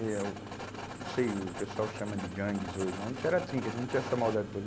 Eu sei, o pessoal chama de gangues hoje, mas a gente era trinca, a gente não tinha essa maldade toda.